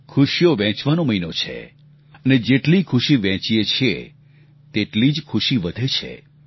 ખુશીઓ વહેંચવાનો મહિનો છે અને જેટલી ખુશી વહેંચીએ છીએ તેટલી જ ખુશી વધે છે